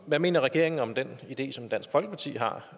hvad mener regeringen om den idé som dansk folkeparti har